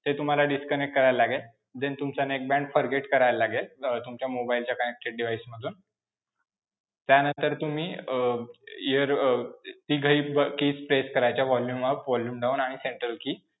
ते तुम्हाला disconnect करायला लागेल, then तुमचं neckband forget करायला लागेल, अं तुमच्या mobile च्या connected device मधून त्यानंतर तुम्ही अं ear अं तिघही keys press करायच्या. volume up, volume down आणि central key